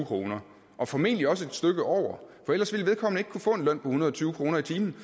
kroner og formentlig også et stykke over for ellers ville vedkommende ikke kunne få en løn på en hundrede og tyve kroner i timen